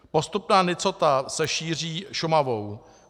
Postupná nicota se šíří Šumavou.